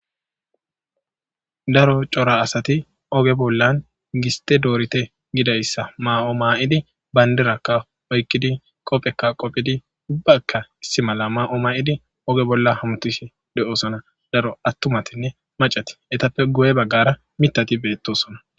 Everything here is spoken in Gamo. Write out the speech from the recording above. Daro coora asati oge bollan gisite dorite gizaysa mayo mayidi bandiraka oyiqidi qopheka qophedi ubayika issi mala mayo mayidi oge hamutishe de'osona etika daro etape guye bagara mithati betosona